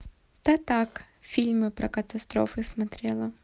да так фильмы про катастрофы смотрела